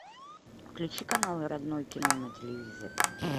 включи канал родное кино на телевизоре